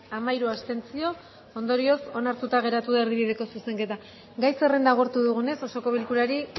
hamairu abstentzio ondorioz onartuta geratu da erdibideko zuzenketa gai zerrenda agortu dugunez osoko bilkurari